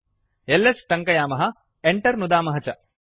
LS टङ्कयामः Enter नुदामः च